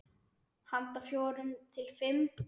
Handa fjórum til fimm